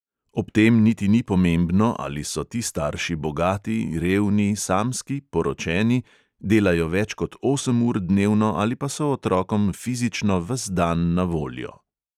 Ob tem niti ni pomembno, ali so ti starši bogati, revni, samski, poročeni, delajo več kot osem ur dnevno ali pa so otrokom fizično ves dan na voljo.